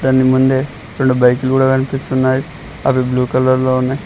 దాని ముందే రెండు బైకులు కూడా కనిపిస్తున్నాయి అవి బ్లూ కలర్ లో ఉన్నాయి.